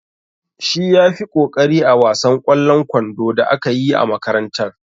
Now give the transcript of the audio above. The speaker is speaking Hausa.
Shi ya fi ƙoƙari a wasan ƙwallon kwando da aka yi a makarantar.